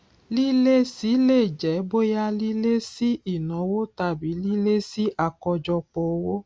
lílési lè jẹ bóyá lílési ìnáwó tàbí lílési àkọjọpọ owó